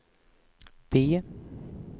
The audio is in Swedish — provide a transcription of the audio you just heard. B